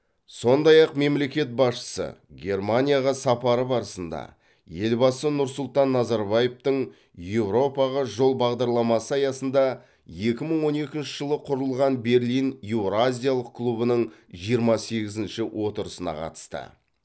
сондай ақ мемлекет басшысы германияға сапары барысында елбасы нұр сұлтан назарбаевтың еуропаға жол бағдарламасы аясында екі мың он екінші жылы құрылған берлин еуразиялық клубының жиырма сегізінші отырысына қатысты